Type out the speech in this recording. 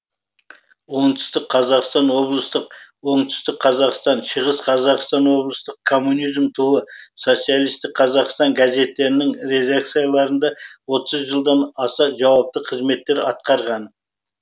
оңтүстік қазақстан облыстық оңтүстік қазақстан шығыс қазақстан облыстық коммунизм туы социалистік қазақстан газеттерінің редакцияларында отыз жылдан аса жауапты қызметтер атқарған